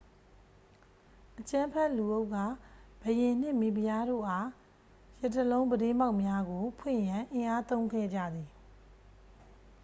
အကြမ်းဖက်လူအုပ်က ဘုရင်နှင့် မိဖုရားတို့အား ရထားလုံးပြတင်းပေါက်များကို ဖွင့်ရန် အင်အားသုံးခဲ့ကြသည်